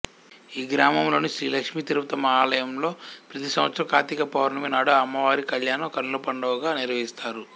ఈ గ్రామములోని శ్రీ లక్ష్మీ తిరుపతమ్మ ఆలయంలో ప్రతి సంవత్సరం కార్తీకపౌర్ణమి నాడు అమ్మవారి కళ్యాణం కన్నులపండువగా నిర్వహిస్తారు